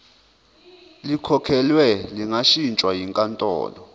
likhokhelwe lingashintshwa yinkantolo